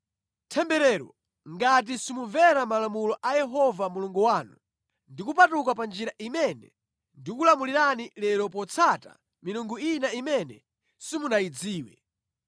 Temberero ngati simumvera malamulo a Yehova Mulungu wanu ndi kupatuka pa njira imene ndikulamulirani lero potsata milungu ina imene simunayidziwe.